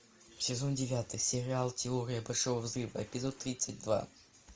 сезон девятый сериал теория большого взрыва эпизод тридцать два